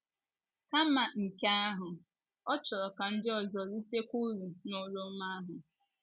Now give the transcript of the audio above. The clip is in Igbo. Kama nke ahụ, ọ chọrọ ka ndị ọzọ ritekwa uru n’oru ọma ahụ.